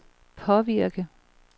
påvirke